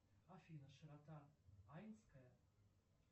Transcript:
афина широта айнская